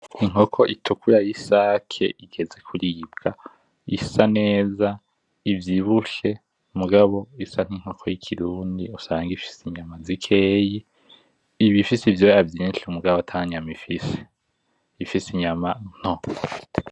Inkoko itukura y'isake igeze kuribwa, isa neza ivyibushe, mugabo isa nk'inkoko y'Ikirundi usanga ifise inyama zikeyi. Iba ifise ivyoya vyisnhi mugabo atanyama ifise, iba ifise inyama nto.